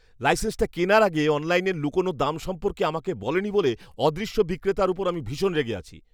লাইসেন্সটা কেনার আগে অনলাইনের লুকোনো দাম সম্পর্কে আমাকে বলেনি বলে অদৃশ্য বিক্রেতার ওপর আমি ভীষণ রেগে আছি।